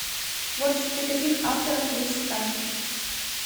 в творчестве каких авторов есть сказки